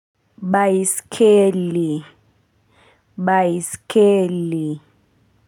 Baiskeli baiskeli.